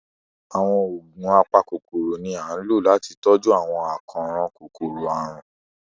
Àwọn oogun apakọkọrọ ni a n lo lati tọju awọn akọran kòkọrọ-arun